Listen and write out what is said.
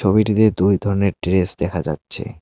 ছবিটিতে দুই ধরনের ড্রেস দেখা যাচ্ছে।